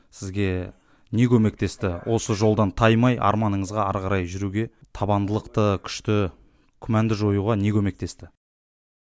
сізге не көмектесті осы жолдан таймай арманыңызға ары қарай жүруге табандылықты күшті күмәнді жоюға не көмектесті